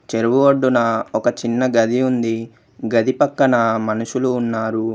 చెరువు ఒడ్డున ఒక చిన్న గది ఉంది. గది పక్కన మనుషులు ఉన్నారు.